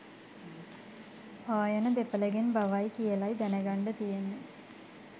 ආයන දෙපළගෙන් බවයි කියලයි දැනගන්ඩ තියෙන්නේ